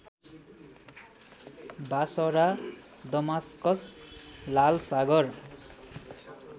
Basara Damascus लालसागर